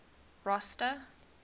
rosta